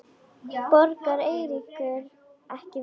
Borgar Eiríkur ekki vel?